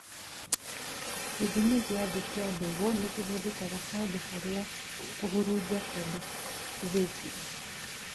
Gĩthimi gĩa thĩ kia mbegũ nĩkĩhũthĩkaga handũ harĩa kũhurunja kwendekithĩtio